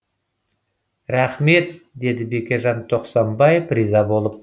рахмет деді бекежан тоқсанбаев риза болып